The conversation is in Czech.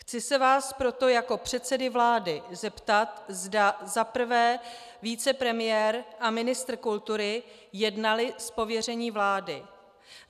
Chci se vás proto jako předsedy vlády zeptat, zda za prvé vicepremiér a ministr kultury jednali z pověření vlády.